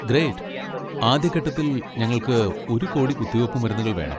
Great. ആദ്യ ഘട്ടത്തിൽ ഞങ്ങൾക്ക് ഒരു കോടി കുത്തിവെപ്പ് മരുന്നുകൾ വേണം.